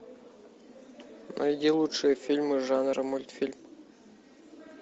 найди лучшие фильмы жанра мультфильм